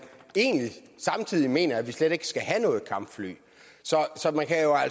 egentlig samtidig mener at vi slet ikke skal have noget kampfly